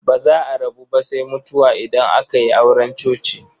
Ba za a rabu ba sai mutuwa idan aka yi auren coci.